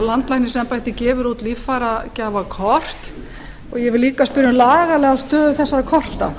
landlæknisembættið gefur út líffæragjafakort ég vil líka spyrja um lagalega stöðu þessara korta